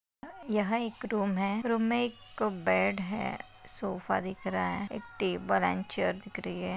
यहा एक रूम है रूम में एक बेड है सोफा दिख रहा है एक टेबल अँड चेयर दिख रही है।